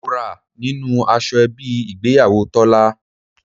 Mo ra nínú aṣọ ẹbí ìgbéyàwó Tọ́lá.